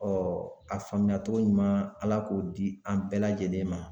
a faamuyacogo ɲuman Ala k'o di an bɛɛ lajɛlen ma